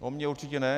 O mně určitě ne.